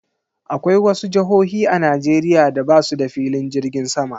Akwai wasu jihohi a Najeriya da basuda filin jirgin sama